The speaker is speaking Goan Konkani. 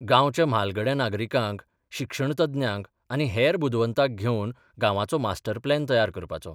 गांवच्या म्हालगड्या नागरिकांक, शिक्षणतज्ञांक आनी हेर बुदवंतांक घेवन गांवाचो मास्टर प्लॅन तयार करपाचो.